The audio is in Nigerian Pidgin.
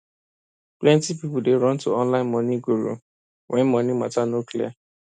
plenty people dey run to online money guru when money matter no clear